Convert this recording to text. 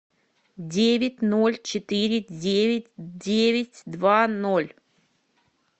девять ноль четыре девять девять два ноль